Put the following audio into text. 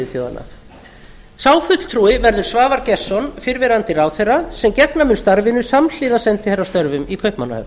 á sá fulltrúi verður svavar gestsson fyrrverandi ráðherra sem gegna mun starfinu samhliða sendiherrastörfum í kaupmannahöfn